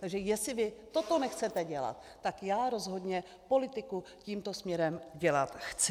Takže jestli vy toto nechcete dělat, tak já rozhodně politiku tímto směrem dělat chci.